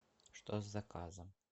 что с заказом